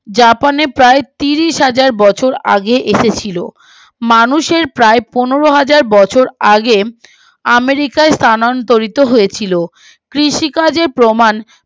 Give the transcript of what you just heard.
জাপানে প্রায় তিরিশ হাজার বছর আগে এসেছিলো মানুষের প্রায় পনেরো হাজার বছর আগে আমেরিকায় স্থানান্তরিত হয়েছিল কৃষিকাজে প্রমান